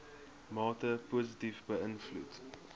mate positief beïnvloed